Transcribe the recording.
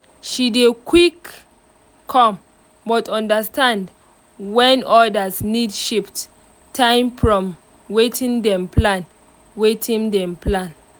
she dey quick come but understand when others need shift time from watin dem plan. watin dem plan.